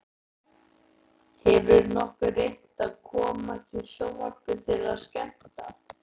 Hefurðu nokkuð reynt að komast í sjónvarpið til að skemmta?